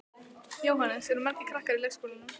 Jóhannes: Eru margir krakkar í leikskólanum?